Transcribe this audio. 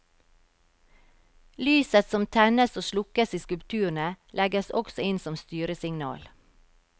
Lyset som tennes og slukkes i skulpturene legges også inn som styresignal.